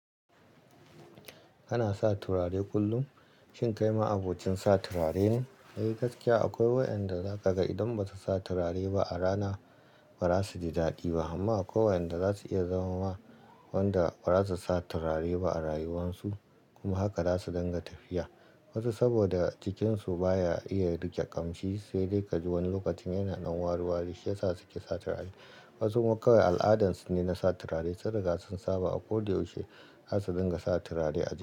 Kana sa turare kullum? Shin kai ma abokin sa turare ne? Eh, gaskiya akwai wayanda za ka ga idan ba su sa turare ba a rana, ba za su ji daɗi ba. Amma akwai wayanda za su iya zama ma wanda ba za su sa turare ba a rayuwarsu, kuma haka za su dinga tafiya. Wasu saboda jikinsu baya iya riƙe ƙamshi, sai dai ka ji wani lokacin yana nan wari wari, shi ya sa su ke sa turare. Wasu ma kawai al'adarsu ne na sa turare, sun riga sun saba a ko da yaushe za su dinga sa turare a jiki.